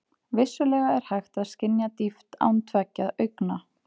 Vissulega er hægt að skynja dýpt án tveggja augna.